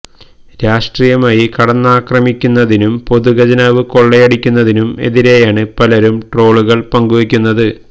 രാഷ്ട്രീയമായി കടന്നാക്രമിക്കുന്നതിനും പൊതു ഖജനാവ് കൊളളയടിക്കുന്നതിനും എതിരെയാണ് പലരും ട്രോളുകള് പങ്കുവയ്ക്കുന്നത്